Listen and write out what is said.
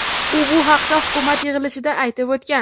U bu haqda hukumat yig‘ilishida aytib o‘tgan.